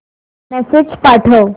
message पाठव